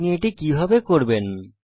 আপনি এটি কিভাবে করবেন